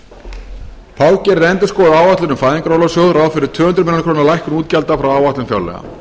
atvinnuleysis þá gerir endurskoðuð áætlun um fæðingarorlofssjóð ráð fyrir tvö hundruð milljóna króna lækkun útgjalda frá áætlun fjárlaga